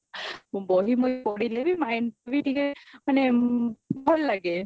ମୁଁ ବହି ମହି ପଢିଲେ ବି mind ବି ଟିକେ ମାନେ ଭଲ ଲାଗେ